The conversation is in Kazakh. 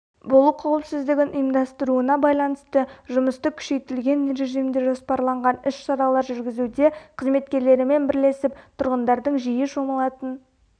болу қауіпсіздігін ұйымдастыруына байланысты жұмысты күшейтілген режимде жоспарланған іс-шаралар жүргізуде қызметкерлерімен бірлесіп тұрғындардың жиі шомылатын